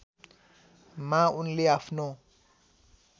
मा उनले आफ्नो